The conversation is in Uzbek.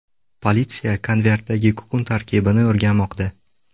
Politsiya konvertdagi kukun tarkibini o‘rganmoqda.